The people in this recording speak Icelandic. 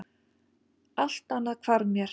Allt annað hvarf mér.